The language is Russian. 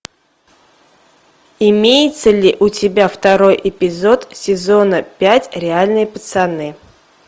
имеется ли у тебя второй эпизод сезона пять реальные пацаны